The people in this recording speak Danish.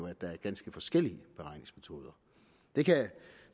at der er ganske forskellige beregningsmetoder det kan